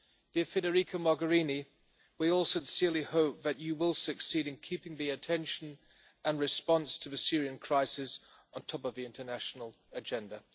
Dear Federica Mogherini, we all sincerely hope that you will succeed in keeping the attention and response to the Syrian crisis at the top of the international agenda.